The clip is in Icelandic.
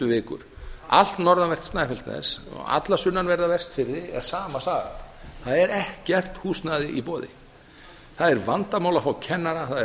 vikur um allt norðanvert snæfellsnes alla sunnanverða vestfirði er sama sagan það er ekkert húsnæði í boði það er vandamál að fá kennara það er